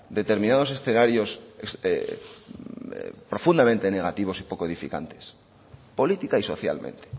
determinados escenarios profundamente negativos y poco edificantes política y socialmente